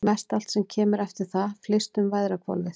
Mestallt sem kemur eftir það flyst um veðrahvolfið.